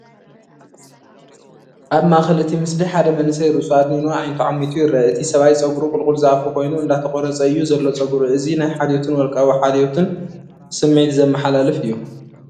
ኣብ ማእከል እቲ ምስሊ ሓደ መንእሰይ ርእሱ ኣድኒኑ ኣዒንቱ ዓሚቱ ይርአ። እቲ ሰብኣይ ጸጉሩ ቁልቁል ዝኣፉ ኮይኑ እንዳተቆረፀ እዩ ዘሎ ፀጉሩ። እዚ ናይ ሓልዮትን ውልቃዊ ሓልዮትን ስምዒት ዘመሓላልፍ እዩ።